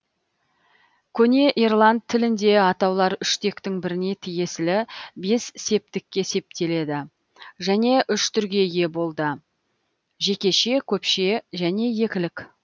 көне ирланд тілінде атаулар үш тектің біріне тиесілі бес септікке септелді және үш түрге ие болды жекеше көпше және екілік